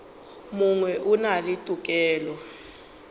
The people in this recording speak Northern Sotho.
mongwe o na le tokelo